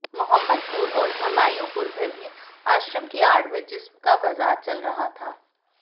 मोहम्मदपुर और हुमायूंपुर में भी आश्रम की आड़ में जिस्म का बाजार चल रहा था